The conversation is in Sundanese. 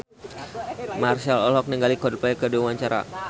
Marchell olohok ningali Coldplay keur diwawancara